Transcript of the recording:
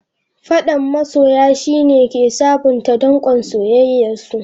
Faddan masoya, shi ne ke sabonta dankon soyayyarsu.